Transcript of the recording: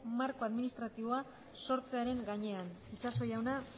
marko administratiboa sortzearen gainean itxaso jauna